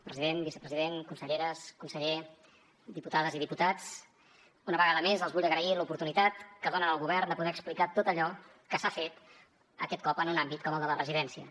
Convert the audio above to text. president vicepresident conselleres conseller diputades i diputats una vegada més els vull agrair l’oportunitat que donen al govern de poder explicar tot allò que s’ha fet aquest cop en un àmbit com el de les residències